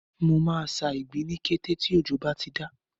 Mo máa ṣa ìgbín ní kété tí òjò bá ti dá.